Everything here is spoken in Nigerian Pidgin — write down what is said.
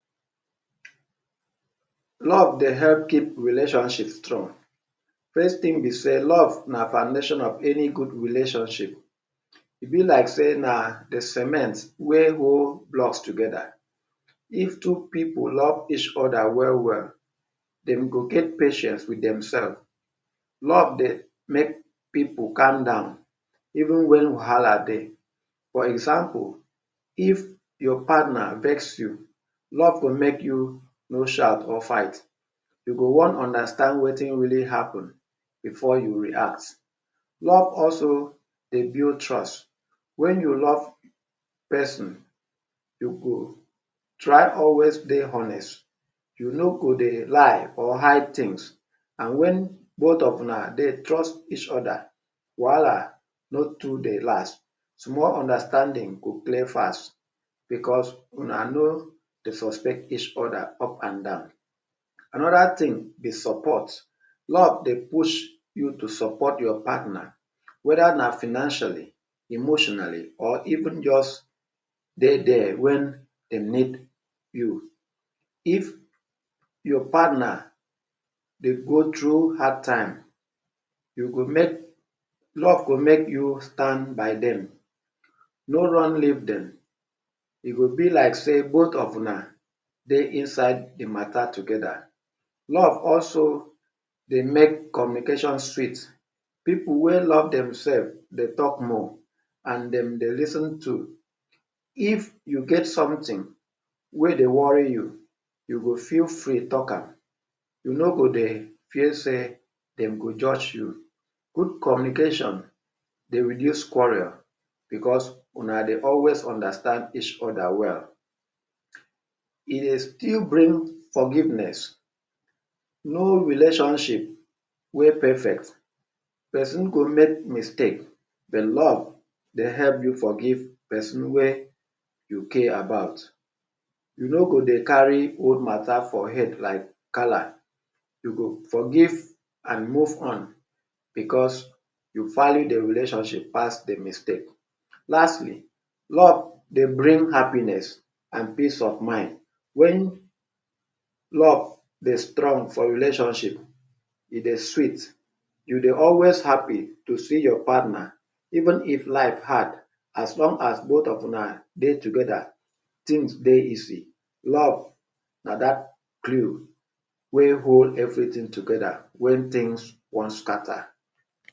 Love dey help keep relationship strong. First thing be sey love na foundation of any good relationship. E be like sey na de cement wey hold blocks together. If two pipu love each other well well, dem go get patience wit themselves. Love dey make pipu calm down even wen wahala dey. For example if your partner vex you, love go make you no shout or fight. You go wan understand wetin really happen before you react. Love also dey build trust. Wen you love person, you go try always dey honest. You no go dey lie or hide things and wen both of una dey trust each other, wahala no too dey last. Small understanding go clear fast because una no dey suspect each other up and down. Another thing be support. Love dey push you to support your partner whether na financially, emotionally or even just dey there wen dem need you. If your partner dey go through hard time, you go make, love go make you stand by dem, no run leave dem. E go be like sey both of una dey inside de matter together. Love also dey make communication sweet. Pipu wey love themself dey talk more and dem dey lis ten too. If you get something wey dey worry you, you go feel free talk am, you no go dey feel sey dem go judge you. Good communication dey reduce quarrel because una dey always understand each other well. E e dey still bring forgiveness. No relationship wey perfect, person go make mistake, de love dey help you forgive person wey you care about. You no go dey carry old matter for head like gala. You go forgive and move on because you value de relationship pass de mistake. Lastly, love dey bring happiness and piece of mind. Wen love dey strong for relationship, e dey sweet. You dey always happy to see your partner. Even if life hard, as long as both of una dey together, things dey easy. Love na dat glue wey hold everything together wen things wan scatter.